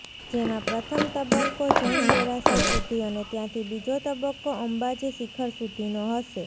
જેમાં પ્રથમ તબક્કો જૈન દેરાસર સુધી અને ત્યાંથી બીજો તબક્કો અંબાજી શિખર સુધીનો હશે